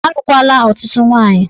Alụkwala ọtụtụ nwaanyị!